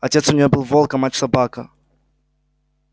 отец у неё был волк а мать собака